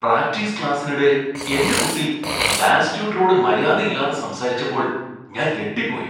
Practice ക്ലാസ്സിനിടെ എന്റെ കുട്ടി ഡാൻസ് ട്യൂട്ടറോട് മര്യാദയില്ലാതെ സംസാരിച്ചപ്പോൾ ഞാൻ ഞെട്ടിപ്പോയി.